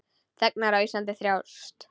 Þegnar yðar á Íslandi þjást.